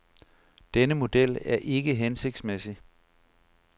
Denne model er ikke hensigtsmæssig.